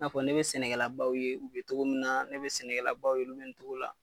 N'a fɔ ne bɛ sɛnɛkɛlabaw ye u bɛ cogo min na, ne bɛ sɛnɛkɛlabaw ye u bɛ cogo la.